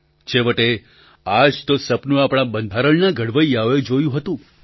છેવટે આ જ તો સપનું આપણા બંધારણના ઘડવૈયાઓએ જોયું હતું